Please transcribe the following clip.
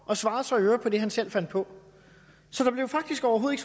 og svarede så i øvrigt på det han selv fandt på så der blev faktisk overhovedet